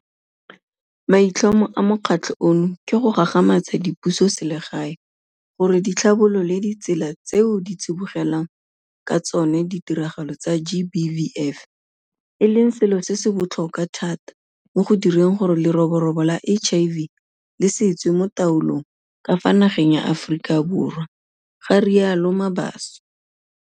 "Maitlhomo a mokgatlho ono ke go gagamatsa dipusoselegae gore di tlhabolole ditsela tseo di tsibogelang ka tsona ditiragalo tsa GBVF, e leng selo se se botlhokwa thata mo go direng gore leroborobo la HIV le se tswe mo taolong ka fa nageng ya Aforika Borwa," ga rialo Mabaso.